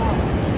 Allah.